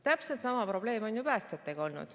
Täpselt sama probleem on olnud ju päästjatega.